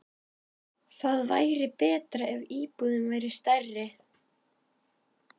Það væri betra ef íbúðin væri stærri.